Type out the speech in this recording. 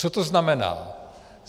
Co to znamená?